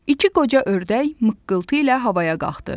İki qoca ördək mıqqıltı ilə havaya qalxdı.